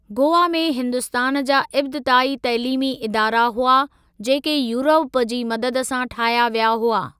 गोवा में हिन्दुस्तान जा इब्तिदाई तइलीमी इदारा हुआ, जेके यूरोप जी मदद सां ठाहिया विया हुआ।